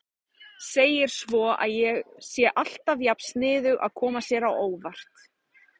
Segir svo að ég sé alltaf jafn sniðug að koma sér á óvart.